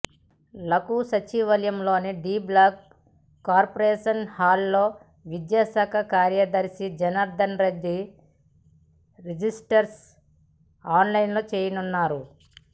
లకు సచివాలయంలోని D block conference హాల్లో విద్యాశాఖ కార్యదర్శి జనార్థన్ రెడ్డి రిజల్ట్స్ అనౌన్స్ చేయనున్నారు